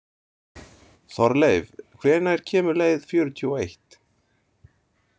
Þorleif, hvenær kemur leið fjörutíu og eitt?